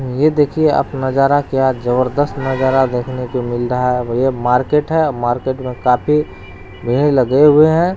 ये देखिए आप नजारा क्या जबरदस्त नजारा देखने को मिल रहा है और ये मार्केट है मार्केट में काफी भीड़ लगे हुए हैं।